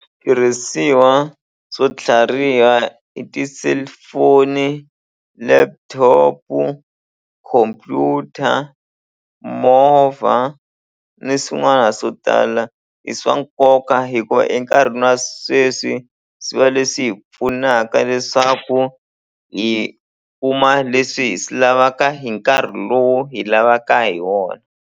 Switirhisiwa swo tlhariha i ti-cellphone laptop-u computer movha ni swin'wana swo tala i swa nkoka hikuva enkarhini wa sweswi swi va leswi hi pfunaka leswaku hi kuma leswi hi swi lavaka hi nkarhi lowu hi lavaka hi wona.